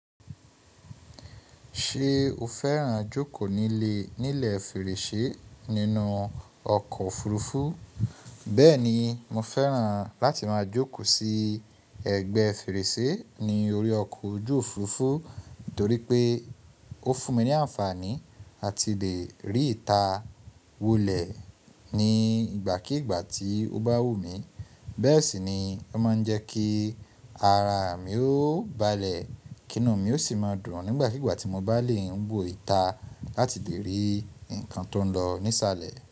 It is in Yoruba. Ṣé o fẹ́ràn jókò lẹ́gbẹ̀ fèrèsé nínú ọkọ̀ òfurufú? Bẹ́ẹ̀ni, mo fẹ́ràn láti má jókò sí ẹ̀gbẹ́ fèrèsé ní orí ọkọ̀ ojú òfurufú nítorí pé ó fún mi ní àǹfàní à ti lè rí ìta wolẹ̀ ní ìgbà kíìgbà tí ó bá wù mí. Bẹ́ẹ̀ sì ni ó má ń jẹ́ kí ara mi ó balẹ̀ kín nú mi ó sì má dùn nígbàkígbà tí mo bá lè wo ìta láti lè rí ǹkan tó ń lọ nísàlẹ̀.